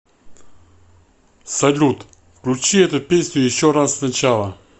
салют включи эту песню еще раз сначала